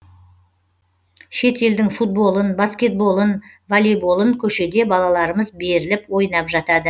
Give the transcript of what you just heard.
шет елдің футболын баскетболын воллейболын көшеде балаларымыз беріліп ойнап жатады